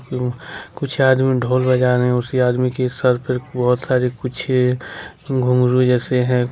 कुछ आदमी ढोल बजा रहे हैं उसी आदमी के सर पर बहुत सारे कुछ घुंघरू जैसे हैं।